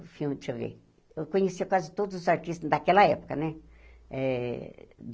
O filme, deixa eu ver... Eu conhecia quase todos os artistas daquela época, né? Eh